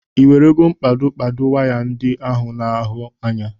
Ị werego mkpado kpado waya ndị ahụ a na-ahụ anya?